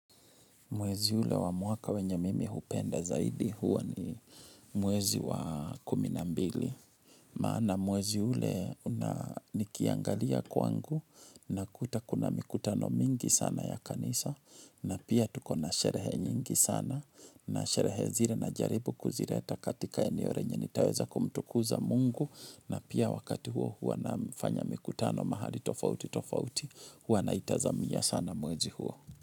Mwezi ule wa mwaka wenye mimi hupenda zaidi huwa ni mwezi wa kuminambili. Maana mwezi ule nikiangalia kwangu na kuta kuna mikutano mingi sana ya kanisa na pia tuko na sherehe nyingi sana na sherehe zile najaribu kuzireta katika eneo re nye nitaweza kumtukuza mungu na pia wakati huo huwa nafanya mikutano mahali tofauti tofauti huwa naitazamia sana mwezi huo.